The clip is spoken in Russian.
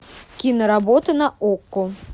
киноработы на окко